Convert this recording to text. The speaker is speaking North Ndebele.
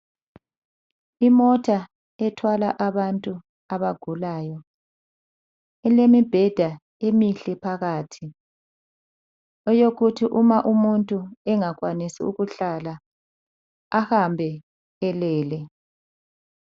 Imota ethwala abantu abagulayo. Ilemibheda emihle phakathi eyokuthi uma umuntu engakwanisi ukuhlala ahambe elele.